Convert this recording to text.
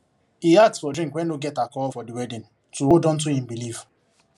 he ask for drink wey no get alcohol for the wedding to hold onto him belief